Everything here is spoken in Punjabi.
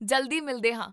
ਜਲਦੀ ਮਿਲਦੇ ਹਾਂ!